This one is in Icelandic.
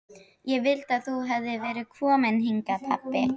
Ég vildi að þú hefðir verið kominn hingað pabbi.